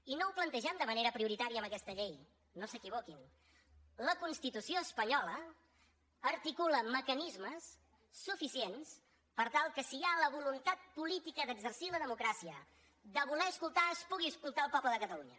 i no ho plantegem de manera prioritària amb aquesta llei no s’equivoquin la constitució espanyola articula mecanismes suficients per tal que si hi ha la voluntat política d’exercir la democràcia de voler escoltar es pugui escoltar el poble de catalunya